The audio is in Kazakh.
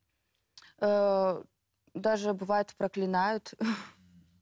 ыыы даже бывают проклинают